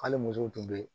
Hali musow tun bɛ yen